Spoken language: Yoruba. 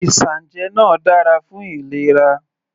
Isanje náà dára fún ìlera.